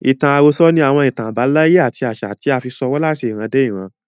Ìtàn àròsọ ni àwọn ìtàn àbáláyé àti àṣà tí a fi ṣọwọ́ láti ìran dé ìran.